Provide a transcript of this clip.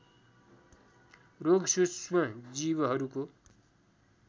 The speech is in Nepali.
रोग सूक्ष्म जीवहरूको